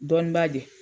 Dɔnniba de ye